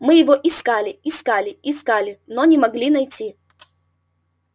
мы его искали искали искали но не могли найти